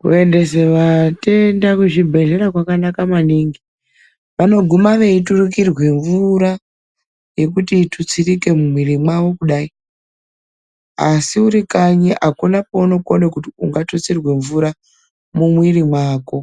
Kuendesa vatenda kuzvibhedhlera kwakanaka maningi. Vanoguma veiturikirwa mvura, yekuti itutsirike mumwiri mwavo kudai. Asi uri kanyi akuna kweungakona kuti ungatutsirwe mvura mumwiri mwako,